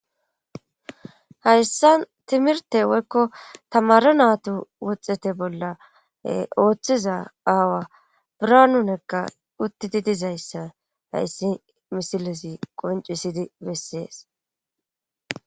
hayssan timirtte woykko tamaare naatu wuxete bolla e oothiza aawa birhanu nega uttidi dizayssa hayssi misilezi qonccissizi bessees.